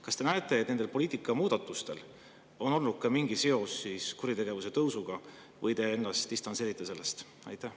Kas te näete, et nendel poliitika muudatustel on mingi seos kuritegevuse tõusuga, või te distantseerite ennast sellest?